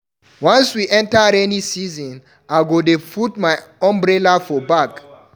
Once we enta rainy season, I go dey put my umbrella for bag.